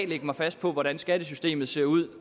lægge mig fast på hvordan skattesystemet ser ud